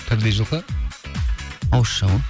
тірідей жылқы ауызша ғой